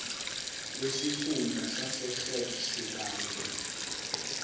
wesifunda sasegert sibande